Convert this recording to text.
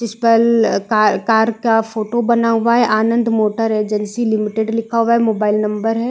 इस पर car -car का फोटो बना हुआ है आनंद मोटर एजेंसी लिमिटेड लिखा हुआ है मोबाइल नंबर हैं।